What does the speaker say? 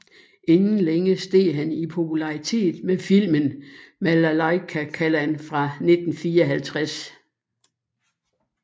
Inden længe steg han i popularitet med filmen Malaikkallan fra 1954